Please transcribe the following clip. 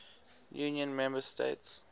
union member states